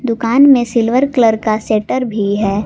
दुकान में silver colour का शटर भी है।